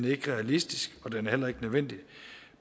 ikke realistisk og dermed heller ikke nødvendigt